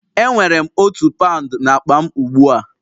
Enwere m otu paụnd n'akpa m ugbu a